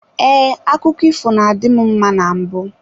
Ee, akụkọ ifo na-adị m mma na mbụ.